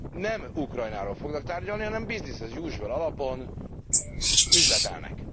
Nem Ukrajnáról fognak tárgyalni, hanem business as usual alapon üzletelnek.